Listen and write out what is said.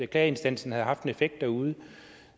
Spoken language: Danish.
klageinstansen havde haft en effekt derude